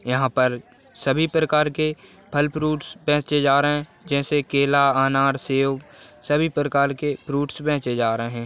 यहाँ पर सभी प्रकार के फल फ्रूइट्स बेचे जा रहे हे जैसे केला अनार सेव सभी प्रकार के फ्रूइट्स बेचे जा रहे हे।